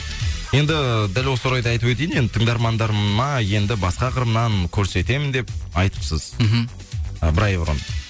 енді дәл осы орайды айтып өтейін енді тыңдармандарыма енді басқа қырымнан көрсетемін деп айтыпсыз мхм ы бір ай бұрын